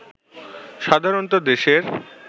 সাধারণত দেশের